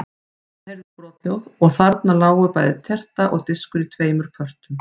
Það heyrðist brothljóð og þarna lágu bæði terta og diskur í tveimur pörtum.